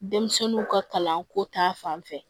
Denmisɛnninw ka kalanko ta fanfɛ